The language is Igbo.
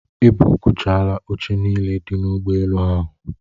E buukchaala oche niile dị n'ụgbọelu ahụ.